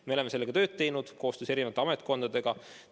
Me oleme sellega seoses teinud koostööd erinevate ametkondadega.